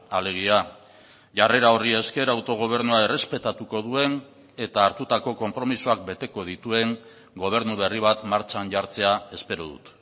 alegia jarrera horri esker autogobernua errespetatuko duen eta hartutako konpromisoak beteko dituen gobernu berri bat martxan jartzea espero dut